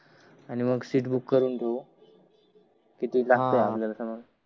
आणि मग seat book करून घेऊ